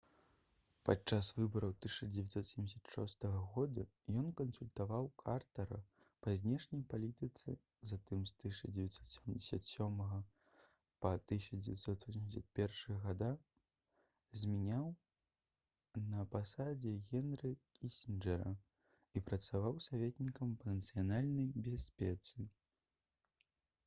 падчас выбараў 1976 г ён кансультаваў картара па знешняй палітыцы затым з 1977 па 1981 гг змяніў на пасадзе генры кісінджэра і працаваў саветнікам па нацыянальнай бяспецы